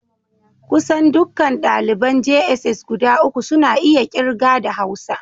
Kusan dukkan daliban jss guda uku suna iya kirga da Hausa